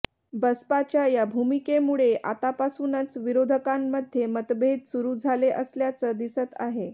बसपाच्या या भूमिकेमुळे आतापासूनच विरोधकांमध्ये मतभेद सुरु झाले असल्याचं दिसत आहे